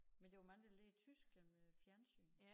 Men der var mange der lærte tysk gennem æ fjernsyn